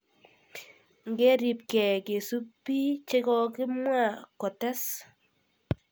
Ngeribke kesubi chekokimwa, kotes.